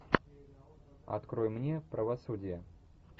открой мне правосудие